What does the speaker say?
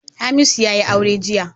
Hamisu ya yi aure jiya